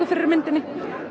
fyrir myndinni